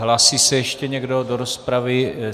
Hlásí se ještě někdo do rozpravy?